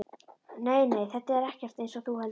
Nei, nei, þetta er ekkert eins og þú heldur.